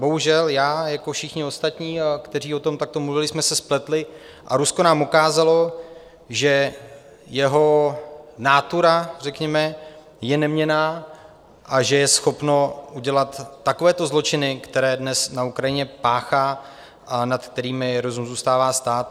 Bohužel já jako všichni ostatní, kteří o tom takto mluvili, jsme se spletli a Rusko nám ukázalo, že jeho nátura řekněme je neměnná a že je schopno udělat takovéto zločiny, které dnes na Ukrajině páchá a nad kterými rozum zůstává stát.